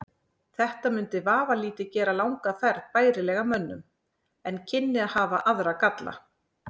Þetta mundi vafalítið gera langa ferð bærilegri mönnum en kynni að hafa aðra galla.